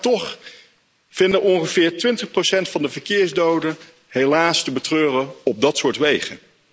Maar toch vinden ongeveer 20 van de verkeersdoden helaas te betreuren op dat soort wegen.